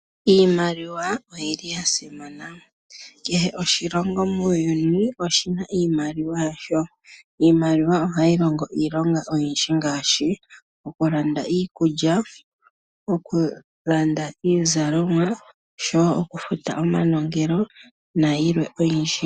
Iimaliwa oyili yasimana. Kehe oshilongo muuyuni oshina iimaliwa yasho. Iimaliwa ohayi longo iilonga oyindji ngaashi okulanda iikulya, okulanda iizalomwa, oshowo okufuta omanongelo nayilwe oyindji.